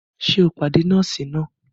Ṣe o pàdé nọọsi nàá?